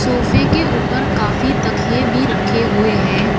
सोफे के ऊपर काफी तकिये भी रखे हुए हैं।